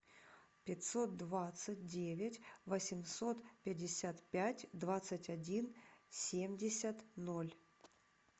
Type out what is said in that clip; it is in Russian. пятьсот двадцать девять восемьсот пятьдесят пять двадцать один семьдесят ноль